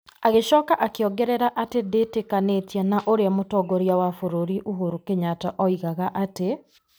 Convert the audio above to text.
Agĩcoka akĩongerera atĩ ndĩtĩkanĩtie na ũrĩa mũtongoria wa bũrũri Uhuru Kenyatta oigaga atĩ ,